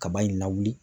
Kaba in lawuli